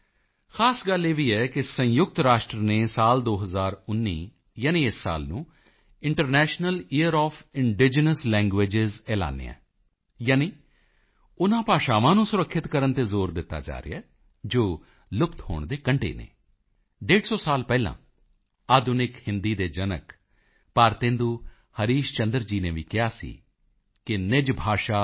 ਸਾਥੀਓ ਖ਼ਾਸ ਗੱਲ ਇਹ ਵੀ ਹੈ ਕਿ ਸੰਯੁਕਤ ਰਾਸ਼ਟਰ ਨੇ 2019 ਯਾਨੀ ਇਸ ਸਾਲ ਨੂੰ international year of indigenous language ਐਲਾਨਿਆ ਹੈ ਯਾਨੀ ਉਨ੍ਹਾਂ ਭਾਸ਼ਾਵਾਂ ਨੂੰ ਸੁਰੱਖਿਅਤ ਕਰਨ ਤੇ ਜ਼ੋਰ ਦਿੱਤਾ ਜਾ ਰਿਹਾ ਹੈ ਜੋ ਲੁਪਤ ਹੋਣ ਦੇ ਕੰਢੇ ਹਨ 150 ਸਾਲ ਪਹਿਲਾਂ ਆਧੁਨਿਕ ਹਿੰਦੀ ਦੇ ਜਨਕ ਭਾਰਤੇਂਦੂ ਹਰੀਸ਼ ਚੰਦਰ ਜੀ ਨੇ ਵੀ ਕਿਹਾ ਸੀ ਕਿ